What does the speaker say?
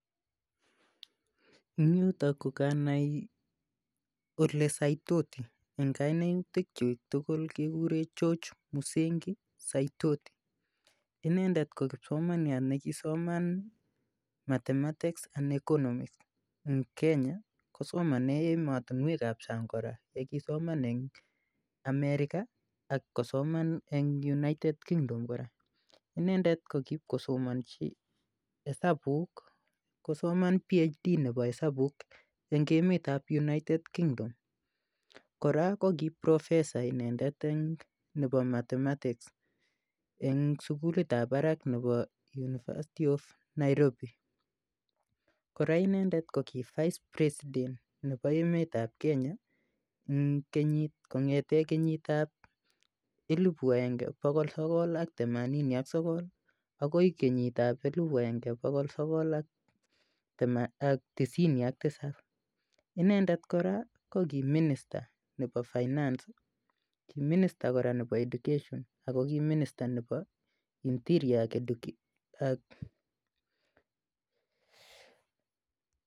Ing' yutok kokanai olesaitoti eng' kainutik chi tugul kekure George Musengi Saitoti inendet ko kipsomaniat nekisoman mathematics and economics ing' Kenya kosomane emotinwekab sang' kora kisoman eng' America ak kosoman eng' united kingdom kora inendet ko kipkosomonji hesabuk kosoman PhD nebo hesabuk eng' emetab United Kingdom kora ko ki professor inendet eng' nebo mathematics eng' sukulitab barak nebo university of Nairobi kora inendet ko ki vice president nebo emetab Kenya kong'ete kenyitab elibu agenge bokol sokol ak themanini ak sokol akoi kenyitab elibu agenge bokol sokol ak tisini ak tisop inendet kora ko ki minister nebo finance ki minister kora nebo education ako ki minister kora nebo interior